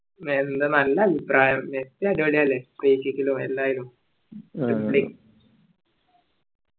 എന്ത് നല്ല അഭിപ്രായം അടിപൊളിയാണ്